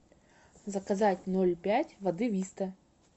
заказать ноль пять воды виста